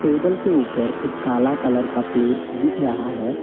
Table के ऊपर एक काला कलर का प्लेट दिख रहा है।